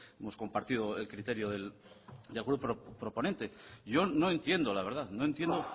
hemos compartido el criterio del grupo proponente yo no entiendo la verdad no entiendo